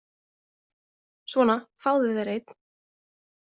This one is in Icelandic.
Svona, fáðu þér einn.